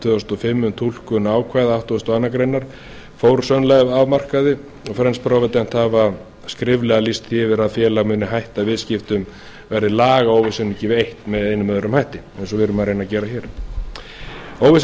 tvö þúsund og fimm um túlkun ákvæða tuttugasta og áttundu grein fór sun life af markaði og french provident hafa skriflega lýst því yfir að félagið muni hætta viðskiptum verði lagaóvissu ekki eytt með einum eða öðrum hætti eins og við erum að reyna að gera hér óvissa